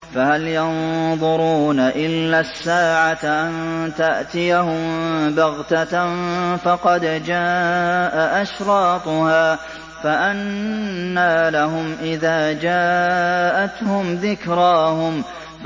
فَهَلْ يَنظُرُونَ إِلَّا السَّاعَةَ أَن تَأْتِيَهُم بَغْتَةً ۖ فَقَدْ جَاءَ أَشْرَاطُهَا ۚ فَأَنَّىٰ لَهُمْ إِذَا جَاءَتْهُمْ ذِكْرَاهُمْ